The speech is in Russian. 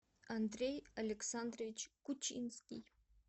андрей александрович кучинский